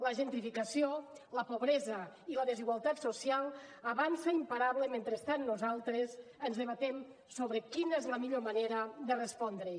la gentrificació la pobresa i la desigualtat social avancen imparables mentre nosaltres debatem sobre quina és la millor manera de respondre hi